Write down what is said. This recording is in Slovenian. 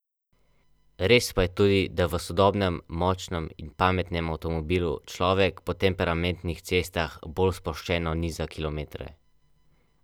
Lani je bilo na fakulteto vpisanih dvajset študentov, letos naj bi bilo vpisanih že petintrideset, prostih pa je še petindvajset mest.